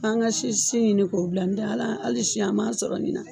An ka si si ɲini k'o bila ndɛ hali si an m'a sɔrɔ ɲina.